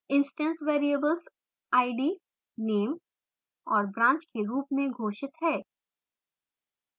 instance variables id name और branch के रूप में घोषित हैं